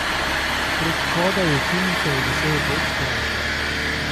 Prek vhoda v učilnico je visel rdeč trak.